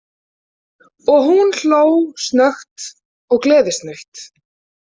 Og hún hló snöggt og gleðisnautt.